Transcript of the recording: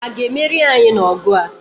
Ha a ga-emeri anyị n'ọgụ a?